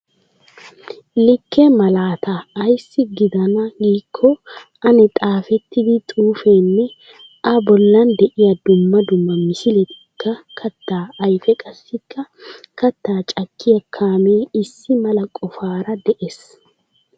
Likke malaataa. Ayssi giidanaa giikko aani xaafettida xuufeenne a bollan de'iyaa dumma dumma misiletikka kattaa ayfee qassikka kattaa cakkiya kaamee issi mala qofaara de'es.